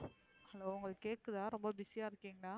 hello உங்களுக்கு கேக்குதா ரொம்ப busy அஹ இருக்கீங்களா.